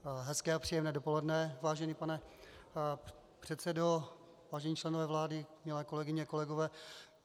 Hezké a příjemné dopoledne, vážený pane předsedo, vážení členové vlády, milé kolegyně, kolegové.